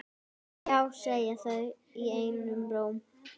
Já segja þau einum rómi.